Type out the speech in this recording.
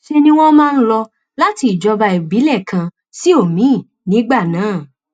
ṣe ni wọn máa ń lò láti ìjọba ìbílẹ kan sí omiín nígbà náà